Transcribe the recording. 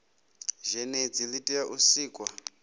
zhenedzi li tea u sikwa